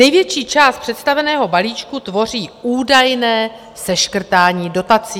Největší část představeného balíčku tvoří údajné seškrtání dotací.